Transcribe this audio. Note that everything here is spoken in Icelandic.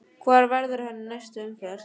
Hvar verður hann í næstu umferð?